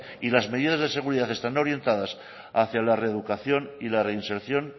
y las medidas de seguridad están orientadas hacia la reeducación y la reinserción